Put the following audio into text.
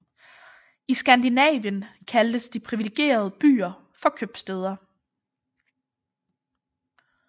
I Skandinavien kaldtes de privilegerede byer for købstæder